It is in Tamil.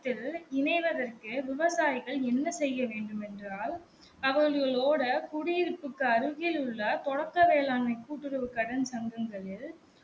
இணைவதற்கு விவசாயிகள் என்ன செய்ய வேண்டுமென்றால் அவர்களோட குடியிருப்புக்கு அருகில் உள்ள தொடக்க வேளாண்மை கூட்டுறவு கடன் சங்கங்களில்